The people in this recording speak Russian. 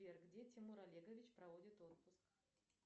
сбер где тимур олегович проводит отпуск